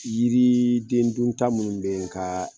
Yirii den dun ta minnu be n ka